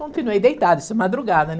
Continuei deitada, isso é madrugada, né?